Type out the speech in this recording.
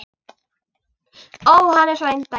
Ó, hann er svo indæll!